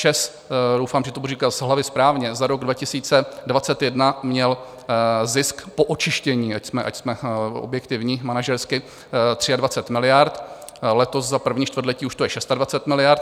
ČEZ - doufám, že to budu říkat z hlavy správně - za rok 2021 měl zisk po očištění, ať jsme objektivní manažersky, 23 miliard, letos za první čtvrtletí už to je 26 miliard.